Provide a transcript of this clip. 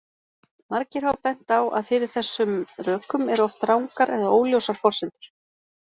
Margir hafa bent á að fyrir þessum rökum eru oft rangar eða óljósar forsendur.